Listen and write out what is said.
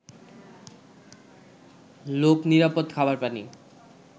লোক নিরাপদ খাবার পানি